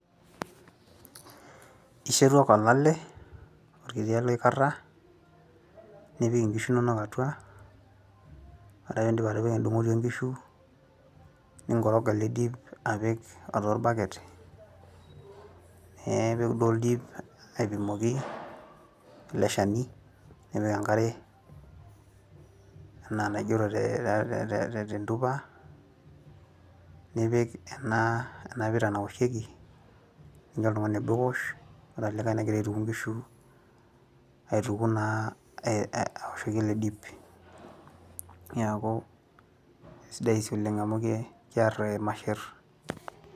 ishetu ake olale orkiti ale oikarra nipik inkishu inonok atua ore pindip atipika endung'oti onkishu ninkoroga ele dip apik orbaket neipik duo oldip aipimoki ele shani nipik enkare enaa enaigero tee tentupa nipik ena pira naoshieki nincho oltung'ani obo ewoshore olikae negira aituku inkishu aituku naa awoshoki ele dip niaku esidai sii oleng amu ke kerr irmasherr.